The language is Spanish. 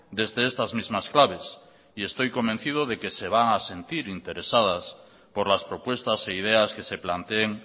desde estas mismas claves y estoy convencido de que se van a sentir interesadas por las propuestas e ideas que se planteen